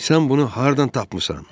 Sən bunu hardan tapmısan?